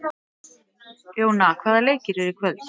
Jóna, hvaða leikir eru í kvöld?